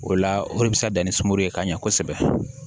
O la o de bɛ se ka dan ni sunkuru ye ka ɲɛ kosɛbɛ